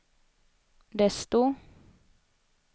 desto